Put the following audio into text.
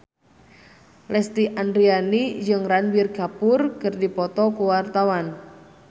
Lesti Andryani jeung Ranbir Kapoor keur dipoto ku wartawan